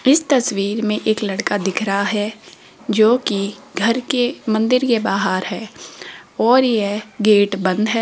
इस तस्वीर में एक लड़का दिख रहा है जो कि घर के मंदिर के बाहर है और यह गेट बंद है।